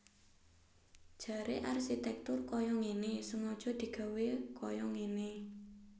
Jaré arsitèktur kaya ngéné sengaja digawé kaya ngéné